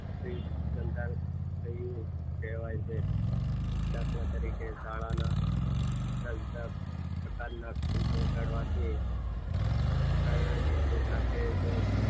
અભિસંધાન થતું કહેવાય દાખલા નંબર તરીકે શાળાના જુદા જુદા પ્રકારના ઘંટ વગાડવાથી વાગવાની સાથે જ